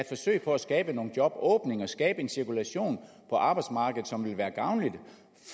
forsøg på at skabe nogle jobåbninger skabe en cirkulation på arbejdsmarkedet som vil være gavnlig